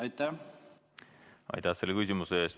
Aitäh selle küsimuse eest!